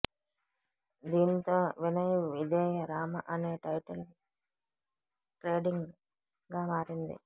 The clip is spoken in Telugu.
దీనితో వినయ విధేయ రామ అనే టైటిల్ ట్రెండింగ్ గా మారింది